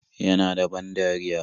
Yana da ban dariya?